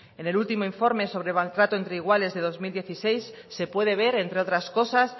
en el último informe sobre maltrato entre iguales de dos mil dieciséis se puede ver entre otras cosas